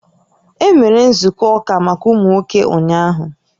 E mere nzukọ ụka maka ụmụ nwoke ụnyaahụ?